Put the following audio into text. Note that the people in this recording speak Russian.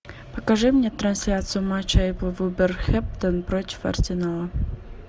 покажи мне трансляцию матча апл вулверхэмптон против арсенала